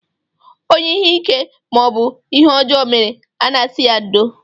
Onye ihe ike maọbụ ihe ọjọọ mere, a na-asị ya ndo